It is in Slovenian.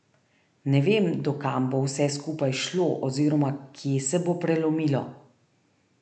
Ne vem, do kam bo vse skupaj šlo oziroma, kje se bo prelomilo.